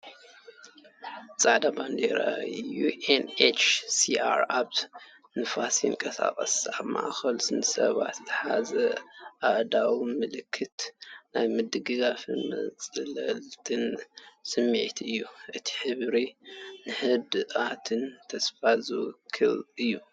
ጻዕዳ ባንዴራ UNHCR ኣብ ንፋስ ይንቀሳቐስ። ኣብ ማእከል ንሰባት ዝሓዛ ኣእዳው ምልክት ናይ ምርድዳእን መጽለልን ስምዒት እየን። እቲ ሕብሪ ንህድኣትን ተስፋን ዝውክል እዩ።